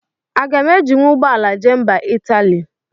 Aga m ejinwu ụgbọala jee mba Italy?